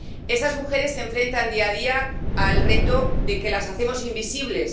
Esas mujeres se enfrentan día a día al reto de que las hacemos invisibles.